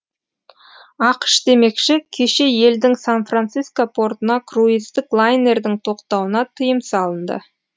ақш демекші кеше елдің сан франциско портына круиздік лайнердің тоқтауына тыйым салынды